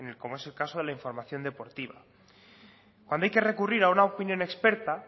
como es el caso de la información deportiva cuando hay que recurrir a una opinión experta